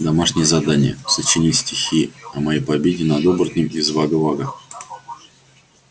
домашнее задание сочинить стихи о моей победе над оборотнем из вага-вага